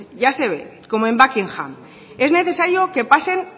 ya se ve como en buckingham es necesario que pasen